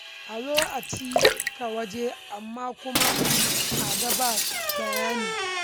A zo a cika waje, amma kuma a ga ba bayani.